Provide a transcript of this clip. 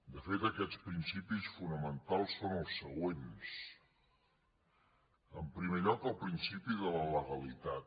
de fet aquests principis fonamentals són els següents en primer lloc el principi de la legalitat